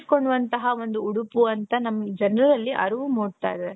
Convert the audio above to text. ಕೊಳ್ಳುವಂತಹ ಒಂದು ಉಡುಪು ಅಂತ ನಮ್ ಜನರಲ್ಲಿ ಅರಿವು ಮೂಡ್ತಾಯಿದೆ.